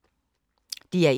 DR1